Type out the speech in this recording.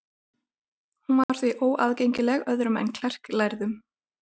Hún var því óaðgengileg öðrum en klerklærðum.